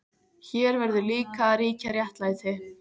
Hér verður líka að ríkja réttlæti.